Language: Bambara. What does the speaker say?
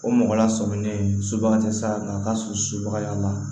O mɔgɔ la sɔminen sobaga tɛ sa nka a ka surun subaga y'a la